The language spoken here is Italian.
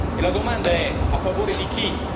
E la domanda è a favore di chi?